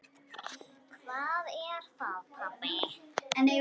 Hvað er það, pabbi?